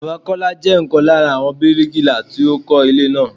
Bàbá Kọ́lá jẹ́ ọ̀kan lára àwọn bíríkilà tí ó kọ́ ilé náà.